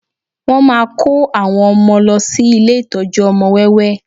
Wọ́n máa kó àwọn ọmọ lọ sí ilé ìtọ́jú ọmọ wẹ́wẹ́